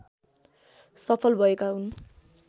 सफल भएका हुन्